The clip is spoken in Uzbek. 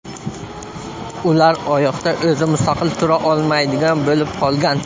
Ular oyoqda o‘zi mustaqil tura olmaydigan bo‘lib qolgan.